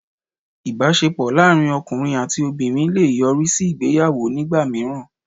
Ìbásepọ̀ láàrín ọkùnrin àti obìnrin le è yọrí sí ìgbéyàwó nígbà míràn